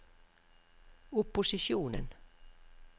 opposisjonen